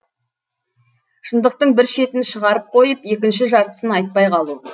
шындықтың бір шетін шығарып қойып екінші жартысын айтпай қалу